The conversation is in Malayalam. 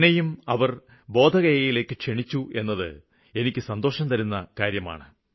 എന്നെയും അവര് ബോധഗയയിലേക്ക് ക്ഷണിച്ചു എന്നത് എനിയ്ക്ക് സന്തോഷംതരുന്ന ഒന്നാണ്